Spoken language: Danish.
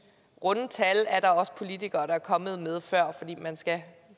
at runde tal er der også politikere der er kommet med før fordi man skal